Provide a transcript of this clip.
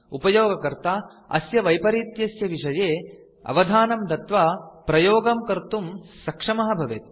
उपयोगकर्ता अस्य वैपरीत्यस्य विषये अवधानं दत्वा प्रयोगं कर्तुं सक्षमः भवेत्